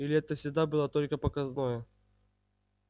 или это всегда было только показное